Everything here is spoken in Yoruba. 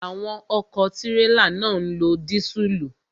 Àwọn ọ̀kọ̀ tírélà náà ń lo dísùlù.